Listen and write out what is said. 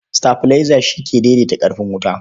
Sitabilaiza shi ke daidaita ƙarfin wuta.